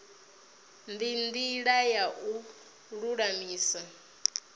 ndi ndila ya u lulamisa